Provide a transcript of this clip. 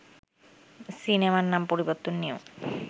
সিনেমার নাম পরিবর্তন নিয়েও